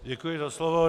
Děkuji za slovo.